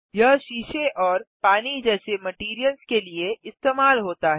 यह शीशे और पानी जैसे मटैरियल्स के लिए इस्तेमाल होता है